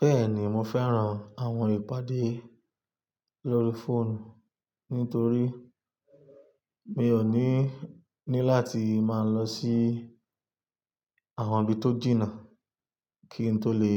Bẹ́ẹ̀ni mo fẹ́ran àwọn ìpàdé lórí fóònù nítorí mi ò ní ní láti máa lọ sí àwọn ibi tó jìnà kí n tó lè